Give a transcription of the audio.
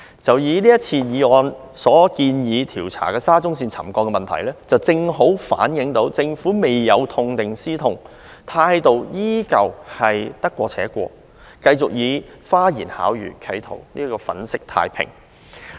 就以這項議案建議調查的沙中線沉降問題為例，這正好反映政府未有痛定思痛，態度依然是得過且過，繼續企圖用花言巧語來粉飾太平。